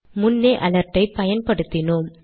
முன்னே அலர்ட் ஐ பயன்படுத்தினோம்